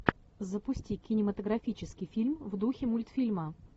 запусти кинематографический фильм в духе мультфильма